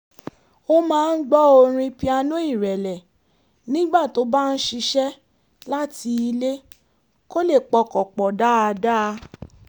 ó máa ń gbọ́ orin pianó ìrẹ̀lẹ̀ nígbà tó bá ń ṣiṣẹ́ láti ilé kó lè pọkàn pọ̀ dáadáa